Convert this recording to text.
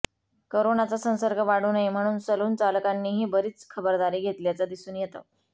करोनाचा संसर्ग वाढू नये म्हणून सलून चालकांनीही बरीच खबरदारी घेतल्याचं दिसून येतं